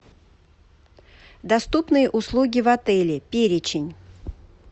доступные услуги в отеле перечень